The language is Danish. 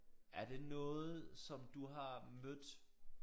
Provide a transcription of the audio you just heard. Er det noget som du har mødt?